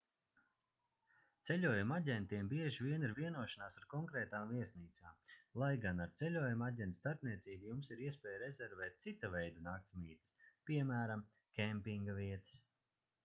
ceļojumu aģentiem bieži vien ir vienošanās ar konkrētām viesnīcām lai gan ar ceļojumu aģenta starpniecību jums ir iespēja rezervēt cita veida naktsmītnes piemēram kempinga vietas